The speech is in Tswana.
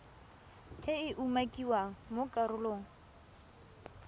e e umakiwang mo karolong